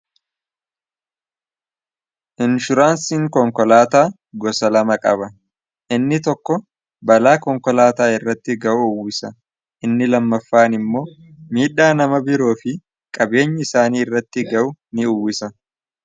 inshuraansiin konkolaataa gosa lama qaba inni tokko balaa konkolaataa irratti ga'u uwwisa inni lammaffa'an immoo miidhaa nama biroo fi qabeenya isaanii irratti ga'u ni uwwisa